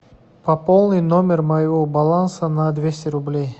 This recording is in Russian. пополни номер моего баланса на двести рублей